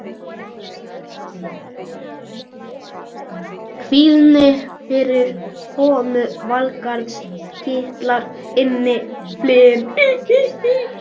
Kvíðinn fyrir komu Valgarðs kitlar innyflin.